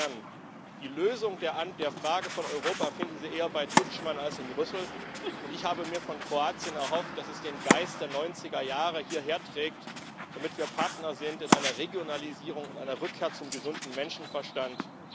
Insofern Die Lösung der Frage von Europa finden Sie eher bei Tuđman als in Brüssel. Ich habe mir von Kroatien erhofft, dass es den Geist der 90er Jahre hierher trägt, damit wir Partner sind in einer Regionalisierung und einer Rückkehr zum gesunden Menschenverstand.